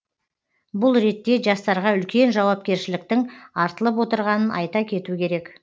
бұл ретте жастарға үлкен жауапкершіліктің артылып отырғанын айта кету керек